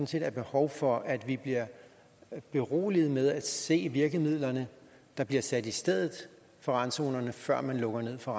set er behov for at vi bliver beroliget med at se hvilke virkemidler der bliver sat i stedet for randzonerne før man lukker ned for